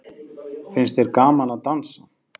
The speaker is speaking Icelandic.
Finnst þér gaman að dansa?